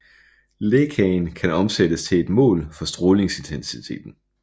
Lækagen kan omsættes til et mål for strålingsintensiteten